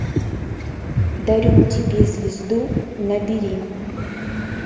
дарю тебе звезду набери